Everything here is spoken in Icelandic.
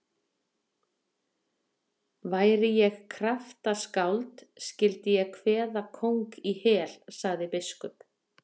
Væri ég kraftaskáld skyldi ég kveða kóng í hel, sagði biskup.